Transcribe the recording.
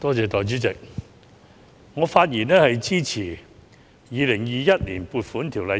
代理主席，我發言支持通過二讀《2021年撥款條例草案》。